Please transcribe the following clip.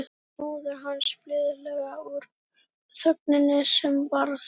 spurði móðir hans blíðlega úr þögninni sem varð.